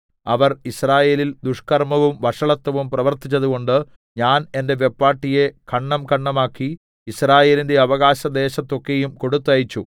അവർ യിസ്രായേലിൽ ദുഷ്കർമ്മവും വഷളത്വവും പ്രവർത്തിച്ചതുകൊണ്ട് ഞാൻ എന്റെ വെപ്പാട്ടിയെ ഖണ്ഡംഖണ്ഡമാക്കി യിസ്രായേലിന്റെ അവകാശദേശത്തൊക്കെയും കൊടുത്തയച്ചു